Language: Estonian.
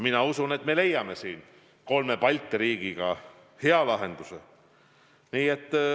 Ma usun, et me leiame siin kolme Balti riigiga hea lahenduse.